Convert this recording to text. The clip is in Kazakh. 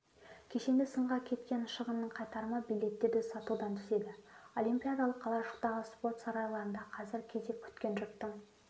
кешенді сынға кеткен шығынның қайтарымы билеттерді сатудан түседі олимпиадалық қалашықтағы спорт сарайларында қазір кезек күткен жұрттың